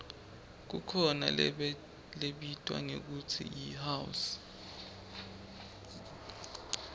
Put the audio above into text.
kukhona lebitwa ngekutsi yihouse